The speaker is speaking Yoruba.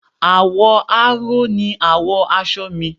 Àwọ̀ aró ni àwọ̀ aṣọ mi